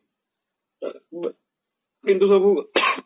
ଯେମତି ସବୁ